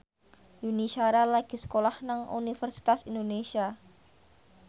Yuni Shara lagi sekolah nang Universitas Indonesia